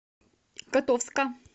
котовска